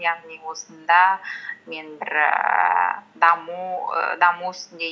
яғни осында мен бір ііі ііі даму үстінде